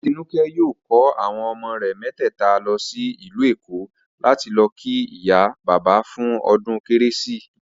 Atinúké̩ yóò kó àwo̩n o̩mo̩ rè̩ mé̩tè̩è̩ta lo̩ sí ìlú Èkó láti lo̩ kí ìyá bàbá fún o̩dún kérésìmesì